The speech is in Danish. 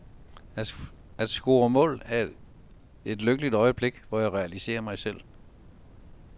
At score mål er et lykkeligt øjeblik, hvor jeg realiserer mig selv.